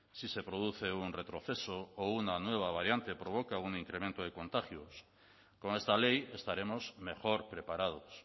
si se produce un retroceso o una nueva variante provoca un incremento de contagios con esta ley estaremos mejor preparados